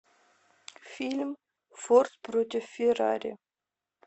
фильм форд против феррари